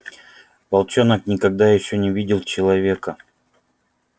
волчонок никогда ещё не видел человека